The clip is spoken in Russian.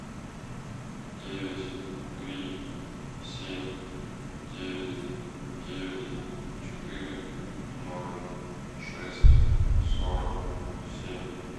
девять три семь девять девять четыре ноль шесть сорок семь